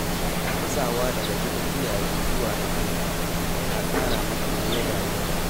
Matsawa daga gidan iyaye zuwa na kanka yana ƙara maka nauyin rayuwa.